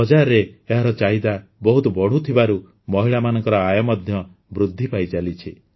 ବଜାରରେ ଏହାର ଚାହିଦା ବହୁତ ବଢ଼ୁଥିବାରୁ ମହିଳାମାନଙ୍କ ଆୟ ମଧ୍ୟ ବୃଦ୍ଧି ପାଇଚାଲିଛି